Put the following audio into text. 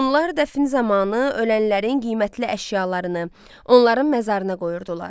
Hunlar dəfn zamanı ölən əşyalarını, onların məzarına qoyurdular.